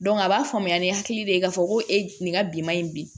a b'a faamuya ni hakili de ye k'a fɔ ko e nin ka bi manɲi bi